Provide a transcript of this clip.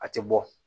A tɛ bɔ